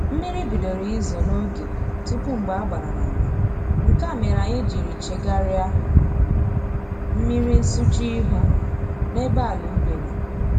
Mmiri bidoro izo n'oge tupu mgbe a gbara n'ama, nke a mere anyị jiri chegarịa mmiri nsụcha ihu n'ebe ala ubi nọ